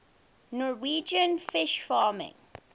norwegian fish farming